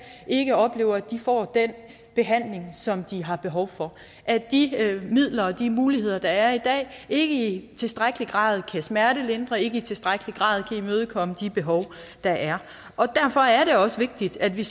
ikke oplever at de får den behandling som de har behov for at de midler og de muligheder der er i dag ikke i tilstrækkelig grad kan smertelindre ikke i tilstrækkelig grad kan imødekomme de behov der er derfor er det også vigtigt at vi